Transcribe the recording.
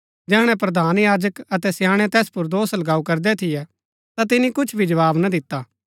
जैहणै प्रधान याजक अतै स्याणै तैस पुर दोष लगाऊ करदै थियै ता तिनी कुछ भी जवाव ना दिता